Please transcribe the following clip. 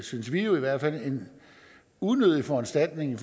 synes vi i hvert fald unødig foranstaltning